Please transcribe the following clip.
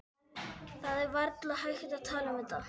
Það er varla hægt að tala um þetta.